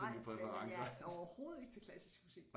Nej men jeg er overhovedet ikke til klassisk musik